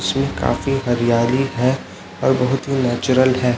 इसमे काफी हरियाली है और बहुत ही नेचुरल है।